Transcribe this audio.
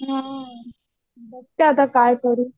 हं बघते आता काय करू?